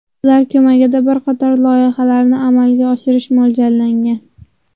Ular ko‘magida bir qator loyihalarni amalga oshirish mo‘ljallangan.